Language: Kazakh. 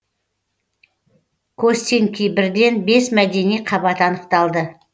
костенки бірден бес мәдени қабат анықталды